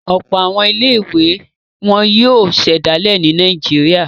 Ọ̀pọ̀ àwọn ilé-ìwé ni wọ́n yóò ṣẹ̀dálẹ̀ ní Nàìjíríà.